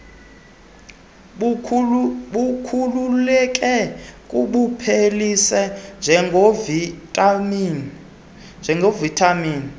bukhululeke kubuphelise njengovitamin